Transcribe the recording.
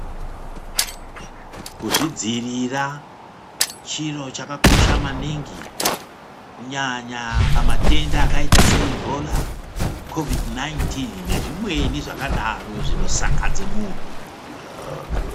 Kuzvidziirira chiro chakakosha maningi kunyanya pamatenda akaita seIbhola Kovhidi 19 nezvimweni zvakadaro zvinosakadze muntu.